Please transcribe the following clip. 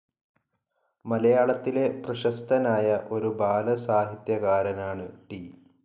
മലയാളത്തിലെ പ്രശസ്തനായ ഒരു ബാലസാഹിത്യകാരനാണ് ടി.